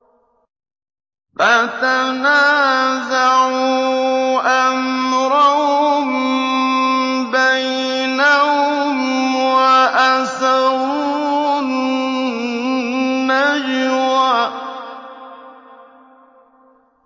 فَتَنَازَعُوا أَمْرَهُم بَيْنَهُمْ وَأَسَرُّوا النَّجْوَىٰ